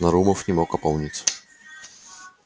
нарумов не мог опомниться